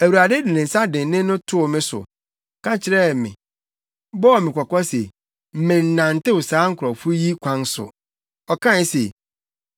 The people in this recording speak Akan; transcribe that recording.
Awurade de ne nsa dennen no too me so, ka kyerɛ me, bɔɔ me kɔkɔ se mennantew saa nkurɔfo yi kwan so. Ɔkae se,